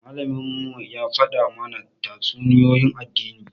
Malaminmu ya faɗa mana tatsuniyoyin addini.